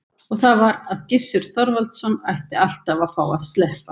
Og það var að Gissur Þorvaldsson ætti alltaf að fá að sleppa.